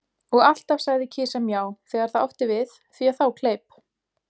Og alltaf sagði kisa Mjá, þegar það átti við, því að þá kleip